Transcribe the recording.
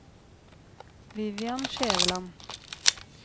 Vivian Skjæveland